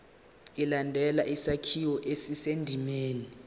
ilandele isakhiwo esisendimeni